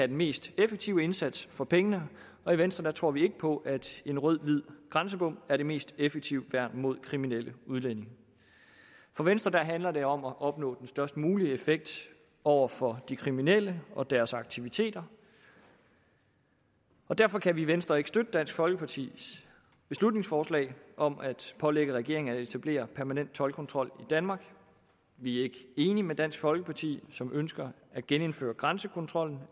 den mest effektive indsats for pengene og i venstre tror vi ikke på at en rød hvid grænsebom er det mest effektive værn mod kriminelle udlændinge for venstre handler det om at opnå den størst mulige effekt over for de kriminelle og deres aktiviteter og derfor kan vi i venstre ikke støtte dansk folkepartis beslutningsforslag om at pålægge regeringen at etablere en permanent toldkontrol i danmark vi er ikke enige med dansk folkeparti som ønsker at genindføre grænsekontrollen